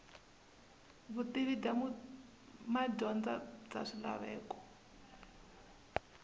vutivi bya madyondza bya swilaveko